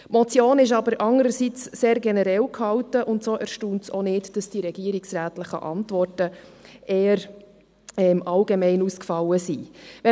Die Motion ist andererseits sehr generell gehalten, und so erstaunt es auch nicht, dass die regierungsrätlichen Antworten eher allgemein ausgefallen sind.